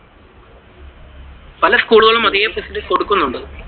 പല സ്കൂളുകളും കൊടുക്കുന്നുണ്ട്.